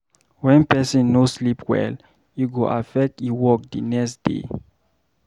When pesin no sleep well, e go affect e work the next day.